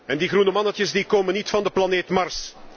En die groene mannetjes komen niet van de planeet Mars.